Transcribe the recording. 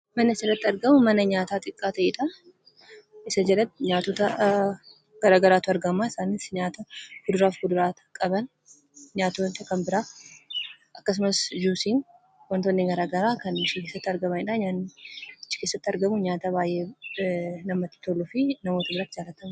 Manni asirratti argamu mana nyaataa xiqqaa ta'edha. Isa jalatti nyaatota gara garaatu argama. Isaanis nyaata kuduraaf muduraa qaban akkasumas, "juusiin" wantootni garaa garaa kan keessa tti argamanidha. Nyaanni achi keessatti argamu nyaata baay'ee namatti toluufi nama duratti kan argamu.